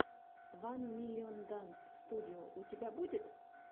ван миллион данс студио у тебя будет